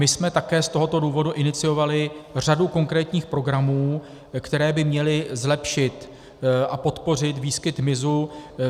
My jsme také z tohoto důvodu iniciovali řadu konkrétních programů, které by měly zlepšit a podpořit výskyt hmyzu.